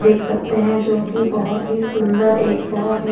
देख सकते हैं जो कि बहोत ही सुंदर एक बहोत ही--